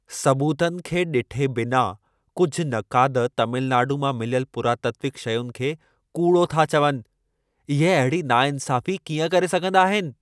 सबूतनि खे ॾिठे बिना कुझु नक़ाद तमिलनाडू मां मिलियल पुरातात्विक शयुनि खे कूड़ो था चवनि। इहे अहिड़ी नाइंसाफ़ी कीअं करे सघंदा आहिनि।